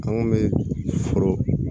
An kun bɛ foro